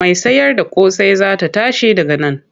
Mai sayarda ƙosai za ta tashi daga nan.